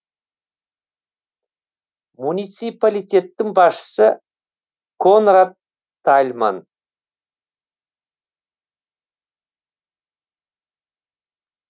муниципалитеттің басшысы конрад тальман